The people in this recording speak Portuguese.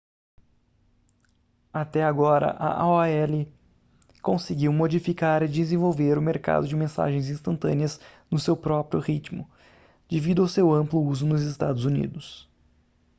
até agora a aol conseguiu modificar e desenvolver o mercado de mensagens instantâneas no seu próprio ritmo devido ao seu amplo uso nos estados unidos